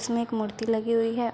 जिसमे एक मूर्ति लगी हुई है।